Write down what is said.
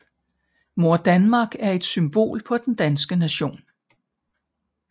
Mor Danmark er et symbol på den danske nation